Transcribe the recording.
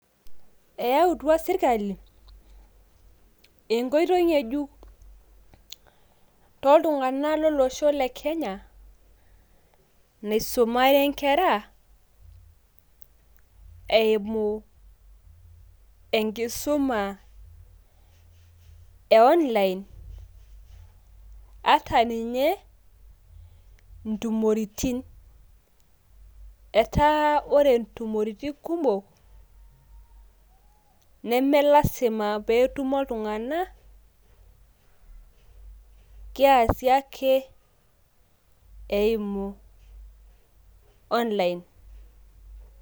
eeyautua sirkali, enkoitoi ngejuk, tooltungannak lolosho le kenya, naisumare nkera eimu enkisuma e online ata ninye intumoritin, etaa ore ntumoritin kumok, neme lasima pee etumo iltunganak, keesi ake eimu online.